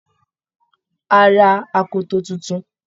Á ra akoto tuntun